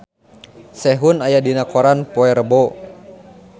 Sehun aya dina koran poe Rebo